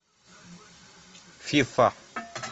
фифа